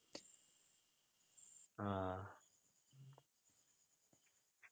ആഹ്